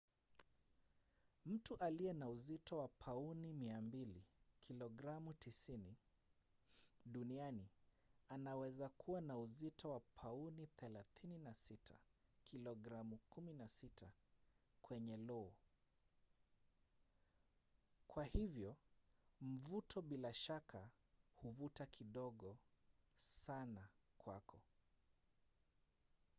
mtu aliye na uzito wa pauni 200 kilogramu 90 duniani anaweza kuwa na uzito wa pauni 36 kilogramu 16 kwenye lo. kwa hivyo mvuto bila shaka huvuta kidogo sana kwako